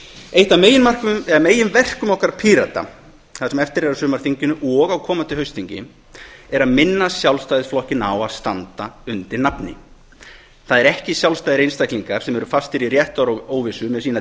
eitt af megin verkum okkar pírata það sem eftir er af sumarþinginu og á komandi haustþingi er að minna sjálfstæðisflokkinn á að standa undir nafni það eru ekki sjálfstæðir einstaklingar sem eru fastir í réttaróvissu með sína